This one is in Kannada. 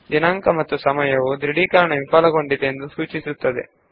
ದಿನಾಂಕ ಮತ್ತು ಸಮಯವು ದೃಢೀಕರಣದ ವೈಫಲ್ಯವು ಯಾವಾಗ ಆಯಿತೆಂದು ಸೂಚಿಸುತ್ತದೆ